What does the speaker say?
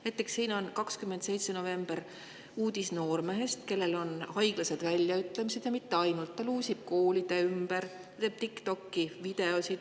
Näiteks siin on 27. novembril uudis noormehest, kellel on haiglased väljaütlemised, ja mitte ainult, ta luusib koolide ümber, teeb TikTokki videoid.